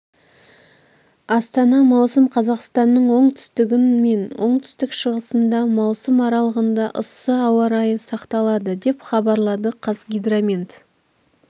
астана маусым қазақстанның оңтүстігін мен оңтүстік-шығысында маусым аралығында ыссы ауа райы сақталады деп хабарлады қазгидромет